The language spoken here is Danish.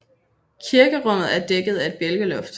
Kirkerummet er dækket at et bjælkeloft